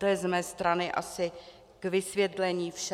To je z mé strany asi k vysvětlení vše.